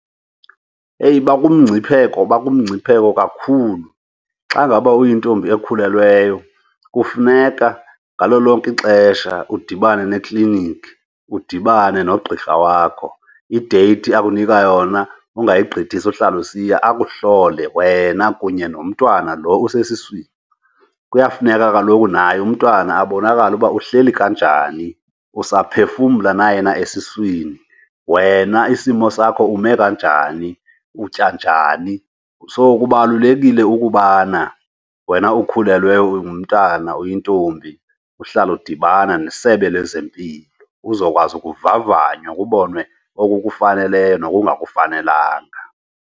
Eyi, bakumngcipheko bakumngcipheko kakhulu! Xa ngaba uyintombi ekhulelweyo kufuneka ngalo lonke ixesha udibane neekliniki, udibane nogqirha wakho. Ideyithi akunika yona ungayigqithisi uhlale usiya akuhlole wena kunye nomntwana lo usesiswini. Kuyafuneka kaloku naye umntwana abonakale uba uhleli kanjani. Usaphefumana na yena esiswini, wena isimo sakho ume kanjani, utya njani? So kubalulekile ukubana wena ukhulelweyo ungumntana oyintombi uhlale udibana neSebe lezeMpilo uzokwazi kuvavanywa kubonwe okukufaneleyo nokungakufanelanga.